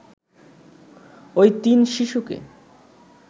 ওই তিন শিশুকে